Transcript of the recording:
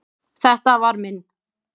Þetta var minn.